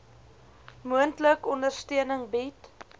moontlik ondersteuning bied